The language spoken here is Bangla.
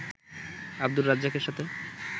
আব্দুর রাজ্জাকের সাথে